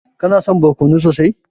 Kana son barkono sosai?